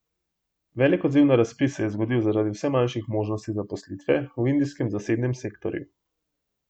Velik odziv na razpis se je zgodil zaradi vse manjših možnosti zaposlitve v indijskem zasebnem sektorju.